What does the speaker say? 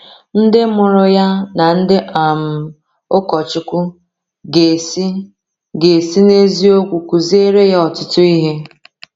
Ndị mụrụ ya na ndị um ụkọchukwu ga-esi ga-esi n’eziokwu kụziere ya ọtụtụ ihe.